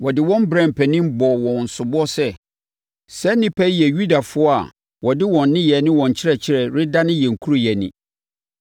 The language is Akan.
Wɔde wɔn brɛɛ mpanin bɔɔ wɔn soboɔ sɛ, “Saa nnipa yi yɛ Yudafoɔ a wɔde wɔn nneyɛeɛ ne wɔn nkyerɛkyerɛ redane yɛn kuro yi ani.